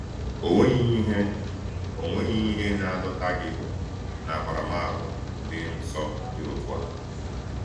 Ò nweghị ihe Ò nweghị ihe na-adọta gị n’akparamàgwà dị nsọ dị otu a?